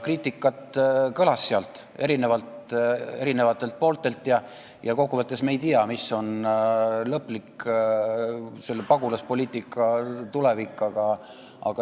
Kriitikat kõlas seal eri pooltelt ja kokkuvõttes me ei tea, mis on pagulaspoliitika lõplik tulevik.